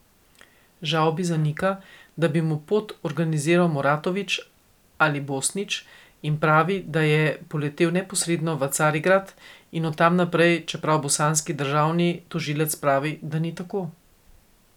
Žavbi zanika, da bi mu pot organiziral Muratović ali Bosnić, in pravi, da je poletel neposredno v Carigrad in od tam naprej, čeprav bosanski državni tožilec pravi, da ni tako.